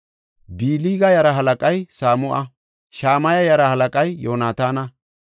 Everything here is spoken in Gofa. Bilga yaraa halaqay Samu7a. Shamaya yaraa halaqay Yoonataana.